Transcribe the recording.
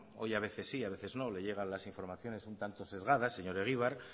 hoy a veces sí a veces no les llega las informaciones un tanto sesgadas señor egibar